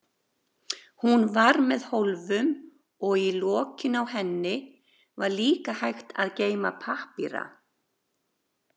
Hún var með hólfum og í lokinu á henni var líka hægt að geyma pappíra.